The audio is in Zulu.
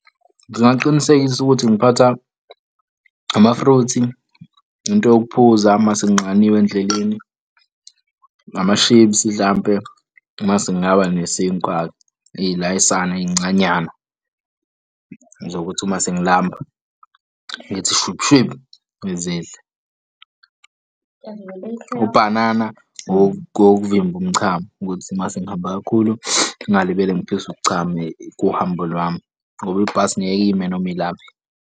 Ngingaqinisekisa ukuthi ngiphatha ama-fruit, into yokuphuza masenginxaniwe endleleni, amashipsi hlampe masekungaba nesinkwa-ke ilayisana ey'ncanyana zokuthi uma sengilamba ngithi shwiphu, shwiphu, ngizidle. Ubhanana wok'vimba umchamo ukuthi masengihambe kakhulu, ngingalibele ngiphiswe uk'chama kuhambo lwami ngoba ibhasi ngeke lime noma ilaphi.